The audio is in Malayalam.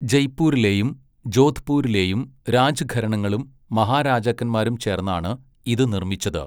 ജയ്പൂരിലെയും ജോധ്പൂരിലെയും രാജ്ഘരണകളും മഹാരാജാക്കന്മാരും ചേർന്നാണ് ഇത് നിർമ്മിച്ചത്.